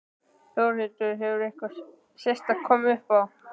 Þórhildur: Hefur eitthvað sérstakt komið upp á?